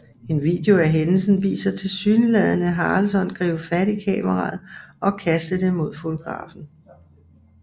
En video af hændelsen viser tilsyneladende Harrelson gribe fat i kameraet og kaste det mod fotografen